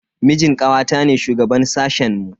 Mijin kawata ne shugaban sashen mu.